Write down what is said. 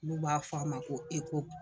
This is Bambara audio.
Olu b'a f'a ma ko